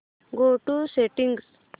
go to settings